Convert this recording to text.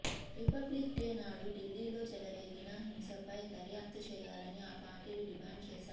రిపబ్లిక్డేనాడు దిల్లీలో చెలరేగిన హింసపై దర్యాప్తు చేయాలని ఆ పార్టీలు డిమాండు చేశాయి